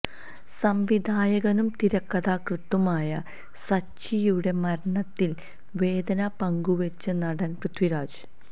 സംവിധായകനും തിരക്കഥാകൃത്തുമായ സച്ചിയുടെ മരണത്തില് വേദന പങ്കുവെച്ച് നടന് പൃഥിരാജ്